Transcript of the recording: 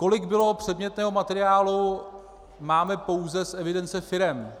Kolik bylo předmětného materiálu, máme pouze z evidence firem.